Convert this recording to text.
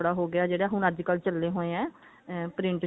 ਕੱਪੜਾ ਹੋ ਗਿਆ ਜਿਹੜਾ ਹੁਣ ਅੱਜਕਲ ਚੱਲੇ ਹੋਏ ਨੇ print ਚੁੰਨੀਆ